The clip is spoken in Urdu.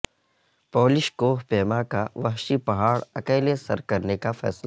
پولش کوہ پیما کا وحشی پہاڑ اکیلے سر کرنے کا فیصلہ